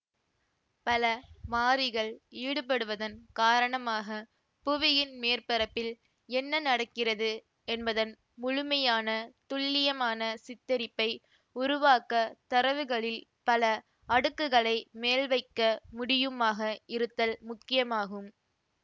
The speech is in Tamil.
பல மாறிகள் ஈடுபடுவதன் காரணமாக புவியின் மேற்பரப்பில் என்ன நடக்கிறது என்பதன் முழுமையான துல்லியமான சித்தரிப்பை உருவாக்க தரவுகளில் பல அடுக்குகளை மேல்வைக்க முடியுமாக இருத்தல் முக்கியமாகும்